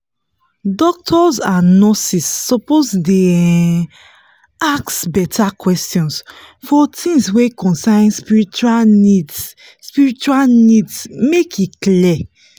doctors and nurses suppose dey um ask beta questions for tins wey concern spiritual needs spiritual needs make e clear